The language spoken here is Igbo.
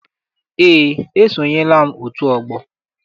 Eé, esonyela m otu ọgbọ.